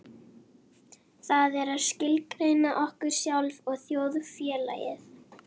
Það er að skilgreina okkur sjálf og þjóðfélagið.